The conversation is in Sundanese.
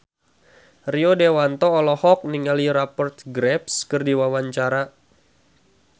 Rio Dewanto olohok ningali Rupert Graves keur diwawancara